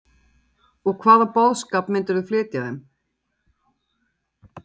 Hugrún Halldórsdóttir: Og hvaða boðskap myndirðu flytja þeim?